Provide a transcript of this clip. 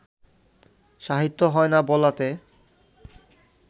সাহিত্য হয় না বলাতে